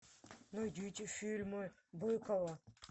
найдите фильмы быкова